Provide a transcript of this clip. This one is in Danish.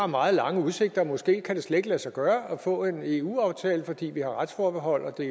meget lange udsigter måske kan det slet ikke lade sig gøre at få en eu aftale fordi vi har et retsforbehold og det